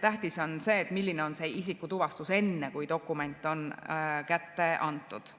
Tähtis on see, milline on see isikutuvastus enne, kui dokument on kätte antud,